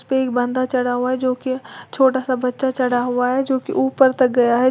एक बंदा चढ़ा हुआ है जोकि छोटा सा बच्चा चढ़ा हुआ है जोकि ऊपर तक गया है।